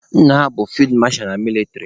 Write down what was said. Nna ha bụ fid masha na mịlịtrị